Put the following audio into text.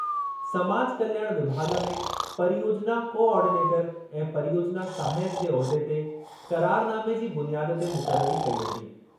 समाज कल्याण विभाॻ में परियोजिना कोआर्डीनेटरु ऐं परियोजिना सहायकु जे उहिदे ते क़रारनामे जी बुनियाद ते मुक़ररी कई वेंदी।